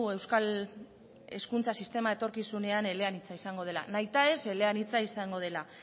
euskal hezkuntza sistema etorkizunean eleanitza izango dela nahitaez eleanitza izango dela